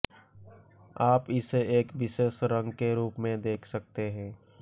आप इसे एक विशेष रंग के रूप में देख सकते हैं